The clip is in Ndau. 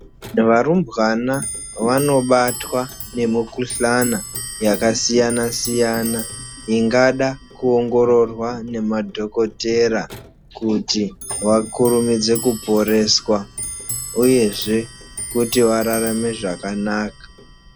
Varumbwana vanobatwa ngemikhuhlani yakasiyana siyana ingada kuongororwa ngemadhokotera kuti vakurumidzwe kuporeswa uyezve kuti vararame zvakanaka .